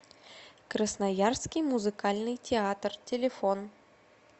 красноярский музыкальный театр телефон